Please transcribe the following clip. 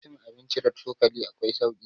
cin abinci da cokali akwai sauki